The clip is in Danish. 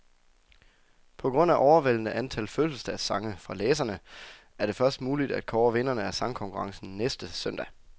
På grund af overvældende antal fødselsdagssange fra læserne, er det først muligt at kåre vinderne af sangkonkurrencen næste søndag.